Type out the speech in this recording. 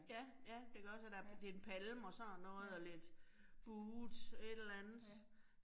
Ja, ja, det gør så der, det en palme og sådan noget, og lidt buet et eller andet